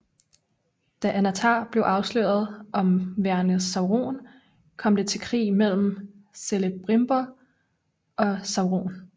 Da Annatar blev afsløret om værende Sauron kom det til krig mellem Celebrimbor og Sauron